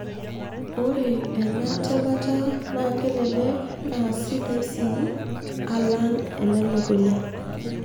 Ore ena temata naa kelelek naa sidai sii alang enelukunya.